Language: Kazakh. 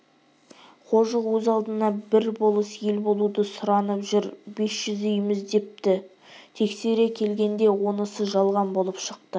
қожық өз алдына бір болыс ел болуды сұранып жүр бес жүз үйміз депті тексере келгенде онысы жалған болып шықты